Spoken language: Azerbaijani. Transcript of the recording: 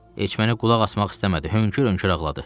Heç məni qulaq asmaq istəmədi, hönkür-hönkür ağladı.